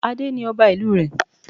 Adé ni ọba ìlú rẹ̀